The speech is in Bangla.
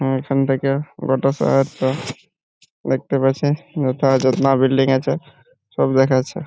আমার এখান থেকে পুরোটা দেখতে পাচ্ছি | বিল্ডিং আছে সব দেখা যাচ্ছে |